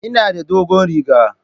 Ina da dogon riga.